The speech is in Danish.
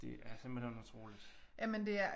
Det er simpelthen utroligt